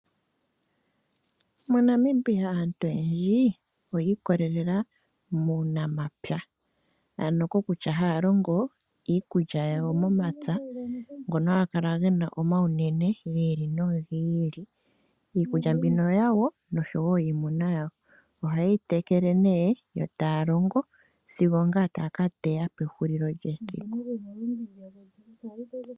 MoNamibia aantu oyendji oyi ikololela muunamapya. Ano kokutya haya longo iikulya yawo momapya ngono haga kala ge na omawunene gi ili nogi ili. Iikulya mbono oyawo noshowo yiimuna yawo. Ohaye yi tekele nee, yo taya longo sigo ongaa aantu taya ka teya pehulilo lyesiku.